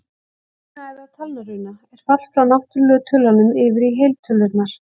Runa, eða talnaruna, er fall frá náttúrlegu tölunum yfir í heiltölurnar.